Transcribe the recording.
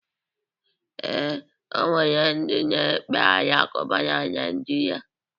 Ee, o nwere ndị na-ekpe alakụba na Naịjirịa.